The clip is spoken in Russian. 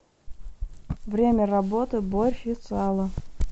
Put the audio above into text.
время работы борщ и сало